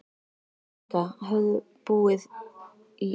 Inga höfðu búið í gamla daga.